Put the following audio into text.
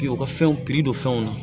U ka fɛnw piri don fɛnw na